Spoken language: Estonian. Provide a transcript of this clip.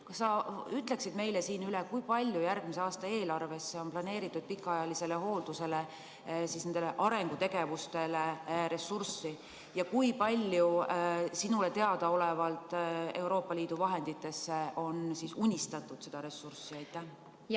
Kas sa ütleksid meile, kui palju järgmise aasta eelarves on planeeritud raha pikaajalisele hooldusele, nendele arengutegevustele ja kui palju sinule teadaolevalt loodetakse Euroopa Liidu vahenditest seda ressurssi saada?